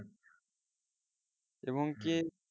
এবং কি